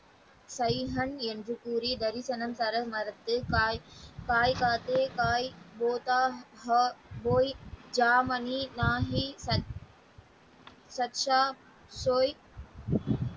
Simon என்று கூறி தரிசனம் தர மறுத்து காய் காய்காத்து காய் போதா போய் ஜாமணி மாகி சச்சா ,